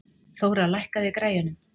Þóra, lækkaðu í græjunum.